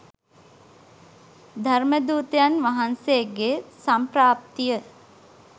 ධර්ම දූතයන් වහන්සේගේ සම්ප්‍රාප්තිය